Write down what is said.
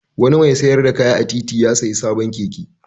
Wani mai sayar da kaya a titi ya sayi sabon keke.